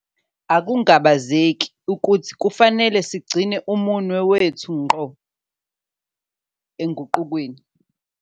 Akungabazeki ukuthi kufanele sigcine umuno wethu ngqo oguqukweni.